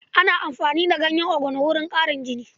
Ana amfani da ganyen ogono wajen ƙarin jini.